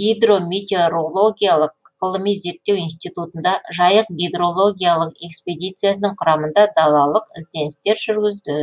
гидрометеорологиялық ғылыми зерттеу институтында жайық гидрологиялық экспедициясының құрамында далалық ізденістер жүргізді